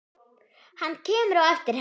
Hann kemur á eftir henni.